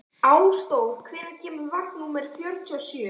Ásdór, hvenær kemur vagn númer fjörutíu og sjö?